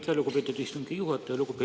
Aitäh, lugupeetud istungi juhataja!